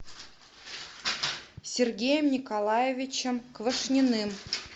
сергеем николаевичем квашниным